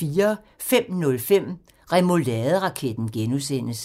05:05: Remouladeraketten (G)